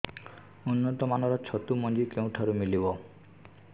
ଉନ୍ନତ ମାନର ଛତୁ ମଞ୍ଜି କେଉଁ ଠାରୁ ମିଳିବ